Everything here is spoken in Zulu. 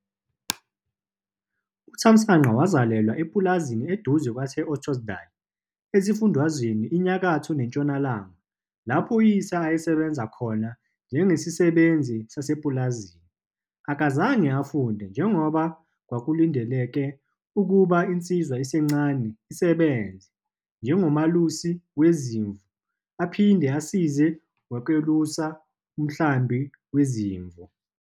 UThamsanqa wazalelwa epulazini eduze kwase-Ottosdal esiFundazweni iNyakatho neNtshonalanga lapho uyise ayesebenza khona njengesisebenzi sasepulazini. Akazange afunde, njengoba kwakulindeleke ukuba insizwa esencane isebenze njengomelusi wezimvu aphinde asize ngokwelusa umhlambi wezimvu.